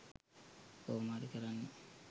කොහොම හරි කරන්න.